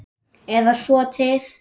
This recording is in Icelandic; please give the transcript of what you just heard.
Eða svo til.